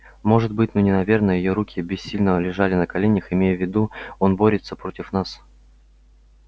может быть но не наверное её руки бессильно лежали на коленях имея в виду он борется против нас